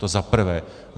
To za prvé.